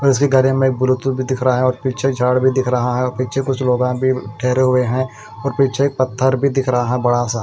दूसरी गाड़ी में ब्लूटूथ भी दिख रहा है और पीछे झाड़ भी दिख रहा है और पीछे कुछ लोगा भी ठहरे हुए हैं और पीछे एक पत्थर भी दिख रहा है बड़ा सा।